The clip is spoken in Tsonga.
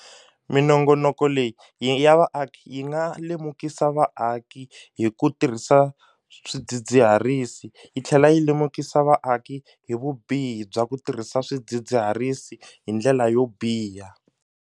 Minongonoko leyi ya vaaki yi nga lemukisa vaaki hi ku tirhisa swidzidziharisi yi tlhela yi lemukisa vaaki hi vubihi bya ku tirhisa swidzidziharisi hi ndlela yo biha.